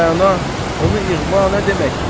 Hələ Rəna, onu ixva nə deməkdir?